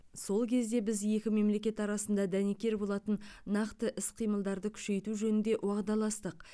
сол кезде біз екі мемлекет арасында дәнекер болатын нақты іс қимылдарды күшейту жөнінде уағдаластық